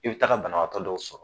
I bi taga banabaatɔ dɔw sɔrɔ